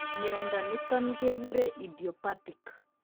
Mnyondo niton keguren idiopathic